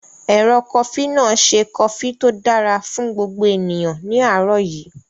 Ẹ̀rọ kofí náà ṣe kofí tó dára fún gbogbo ènìyàn ní àárọ̀ yí